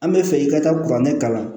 An bɛ fɛ i ka taa kuranɛ kalan